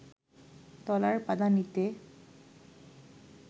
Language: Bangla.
তলার পাদানিতে